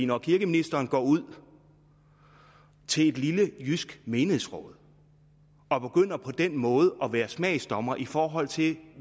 når kirkeministeren går ud til et lille jysk menighedsråd og på den måde at være smagsdommer i forhold til